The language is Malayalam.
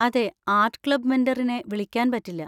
അതെ, ആർട്ട് ക്ലബ് മെൻറ്ററിനെ വിളിക്കാൻ പറ്റില്ല.